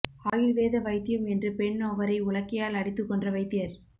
ஆயுள் வேத வைத்தியம் என்று பெண்ணொவரை உலக்கையால் அடித்து கொன்ற வைத்தியர்